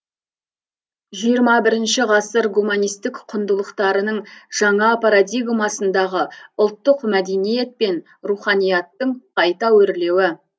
жиырма бірінші ғасыр гуманистік құндылықтарының жаңа парадигмасындағы ұлттық мәдениет пен руханияттың қайта өрлеуі